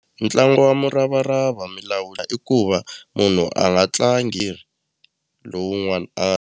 Ntlangu wa muravarava mi lawula i ku va munhu a nga tlangi lowun'wana a nga.